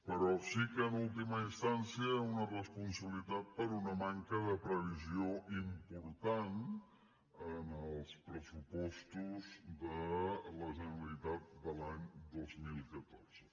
però sí que en última instància hi ha una responsabilitat per una manca de previsió important en els pressupostos de la generalitat de l’any dos mil catorze